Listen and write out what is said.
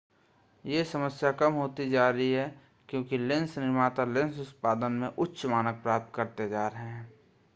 यह समस्या कम होती जा रीा है क्योंकि लेंस निर्माता लेंस उत्पादन में उच्च मानक प्राप्त करते जा रहे हैं